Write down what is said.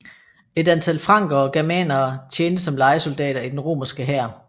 Et antal frankere og germanere tjente som lejesoldater i den romerske hær